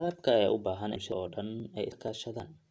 Waraabka ayaa u baahan in bulshada oo dhan ay iska kaashadaan.